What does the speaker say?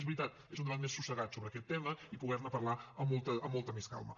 és veritat un debat més assossegat sobre aquest tema i poder ne parlar amb molta més calma